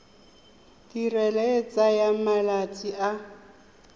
tirelo e tsaya malatsi a